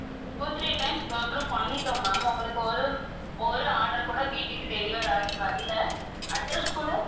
two three times go through பண்ணிட்டோம் ma'am அவங்களுக்கு ஒரு, ஒரு order கூட வீட்டுக்கு deliver ஆகி வரல address கூட